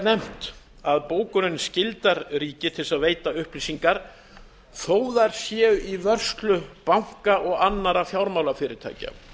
nefnt að bókunin skyldar ríki til að veita upplýsingar þó þær séu í vörslu banka og annarra fjármálafyrirtækja